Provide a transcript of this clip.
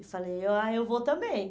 E falei, ó ah, eu vou também.